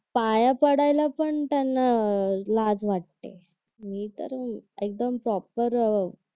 पाया पडायला पण त्यांना लाज वाटते मी तर अह एकदम प्रॉपर